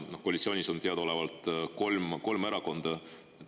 Koalitsioonis on teadaolevalt kolm erakonda.